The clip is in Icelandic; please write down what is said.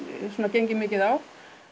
gengið mikið á